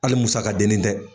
Hali musa ka den ni tɛ.